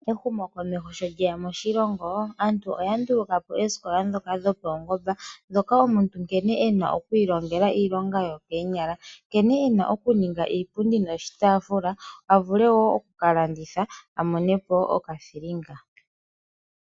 Ehumokomeho sho lyeya moshilongo, aantu oya nduluka po oosikola ndhoka dhopaungomba, ndhoka omuntu nkene e na oku ilongela iilonga yokoonyala, nkene e na okuninga iipundi noshitaafula, a vule wo okukalanditha, a mone po okathilinga.